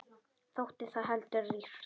Þótti það heldur rýrt.